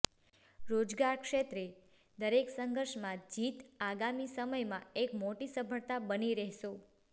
રોજગાર ક્ષેત્રે દરેક સંઘર્ષમાં જીત આગામી સમયમાં એક મોટી સફળતા બની રહેશો